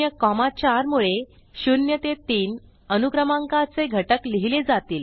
0 4 मुळे 0 ते 3 अनुक्रमांकाचे घटक लिहिले जातील